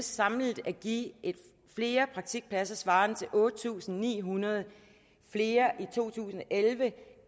samlet at give flere praktikpladser svarende til otte tusind ni hundrede flere i to tusind og elleve